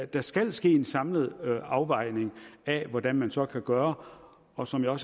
der skal ske en samlet afvejning af hvordan man så kan gøre og som jeg